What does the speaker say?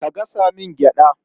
Ka gasa min gyaɗa.